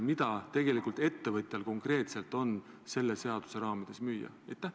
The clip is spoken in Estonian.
Mida tegelikult ettevõtjal on selle seaduse raamides müüa?